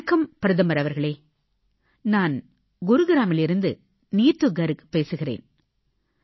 வணக்கம் பிரதமர் அவர்களே நான் குர்காவ்ன் அதாவது குருகிராமிலிருந்து நீத்து கர்க் பேசுகிறேன்